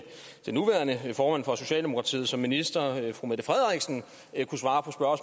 den nuværende formand for socialdemokratiet som minister kunne svare